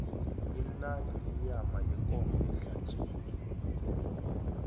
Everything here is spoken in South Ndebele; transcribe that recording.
imnandi iyama yekomo ehlatjiwe